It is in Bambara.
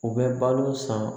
U bɛ balo san